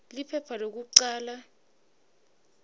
liphepha lekucala p